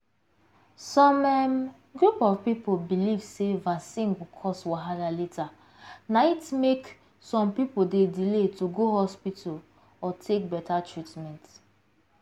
some um group of people belief sey vaccine go cause wahala later na it make some people dey delay to go hospital or take better treatment.